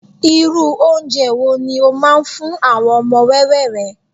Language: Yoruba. irú ounje wo ni o ma n fún àwọn ọmọ wẹwẹ rẹ